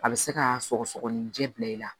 A bɛ se ka sɔgɔsɔgɔninjɛ bila i la